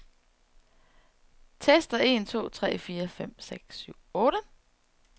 Tester en to tre fire fem seks syv otte.